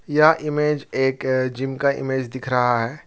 यह इमेज एक जिम का इमेज दिख रहा है।